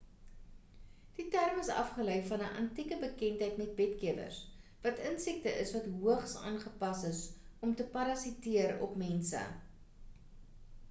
die term is afgelei van 'n antieke bekendheid met bed-kewers wat insekte is wat hoogs aangepas is om te parasiteer op mense